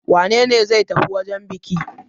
Wane ne zai tafi wajen buki?